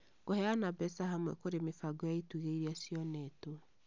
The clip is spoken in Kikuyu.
Kũheana mbeca hamwe kũrĩ mĩbango ya itugĩ ĩrĩa cionetwo